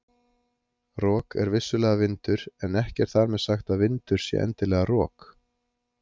Rok er vissulega vindur en ekki er þar með sagt að vindur sé endilega rok.